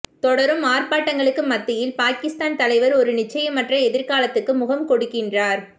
தொடரும் ஆர்ப்பாட்டங்களுக்கு மத்தியில் பாகிஸ்தான் தலைவர் ஒரு நிச்சயமற்ற எதிர்காலத்துக்கு முகம் கொடுக்கின்றார்